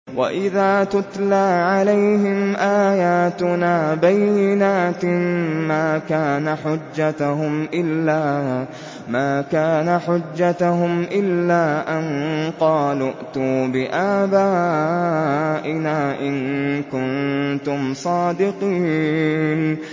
وَإِذَا تُتْلَىٰ عَلَيْهِمْ آيَاتُنَا بَيِّنَاتٍ مَّا كَانَ حُجَّتَهُمْ إِلَّا أَن قَالُوا ائْتُوا بِآبَائِنَا إِن كُنتُمْ صَادِقِينَ